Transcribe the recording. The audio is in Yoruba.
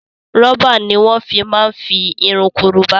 Rọ́bà ni wọn fi máa ń fi irun korobá